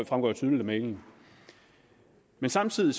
fremgår jo tydeligt af mailen samtidig